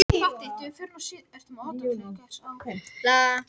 Nokkrum árum síðar gat hann farið að rækta önnur áhugamál sín.